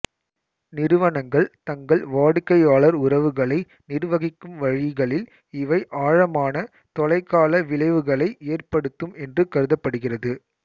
நிறுவனங்கள் தங்கள் வாடிக்கையாளர் உறவுகளை நிர்வகிக்கும் வழிகளில் இவை ஆழமான தொலைகால விளைவுகளை ஏற்படுத்தும் என்று கருதப்படுகிறது